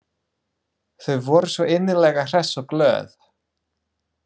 Þau voru svo innilega hress og glöð.